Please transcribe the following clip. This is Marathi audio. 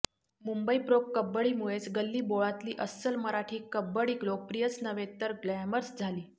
मुंबई प्रो कबड्डीमुळेच गल्लीबोळातली अस्सल मराठी कबड्डी लोकप्रियच नव्हे तर ग्लॅमरस झाली